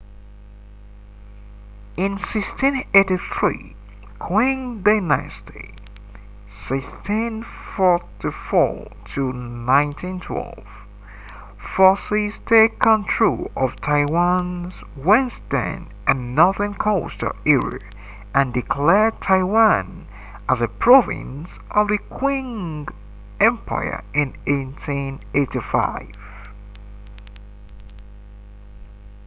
in 1683 qing dynasty 1644-1912 forces take control of taiwan’s western and northern coastal areas and declared taiwan as a province of the qing empire in 1885